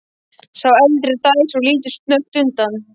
Sá eldri dæsir og lítur snöggt undan.